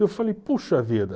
Eu falei, puxa vida.